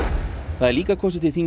það er líka kosið til þings